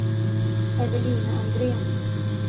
Evelina Andrén